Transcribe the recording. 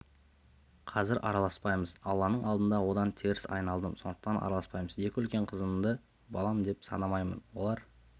қазір араласпаймыз алланың алдында одан теріс айналдым сондықтан араласпаймыз екі үлкен қызымды балам деп санамаймын олар